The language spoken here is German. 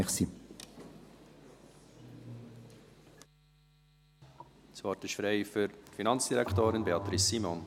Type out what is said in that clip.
Das Wort ist frei für die Finanzdirektorin, Beatrice Simon.